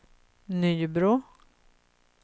Nybro